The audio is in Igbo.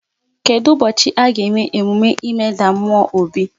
Kedụ ụbọchị a ga-eme emume ịmeda mmụọ obi?